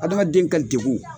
Adamaden ka degun.